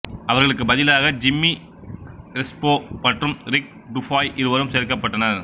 அவர்களுக்குப் பதிலாக Jimmy Crespo மற்றும் ரிக் டுஃபாய் இருவரும் சேர்க்கப்பட்டனர்